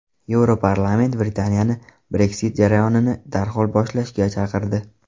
Yevroparlament Britaniyani Brexit jarayonini darhol boshlashga chaqirdi.